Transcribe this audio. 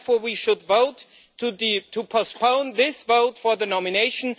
Therefore, we should vote to postpone this vote for the nomination.